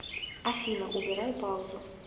афина убирай паузу